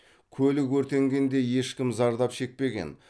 көлік өртенгенде ешкім зардап шекпеген